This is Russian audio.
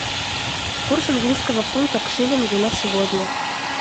курс английского фунта к шиллингу на сегодня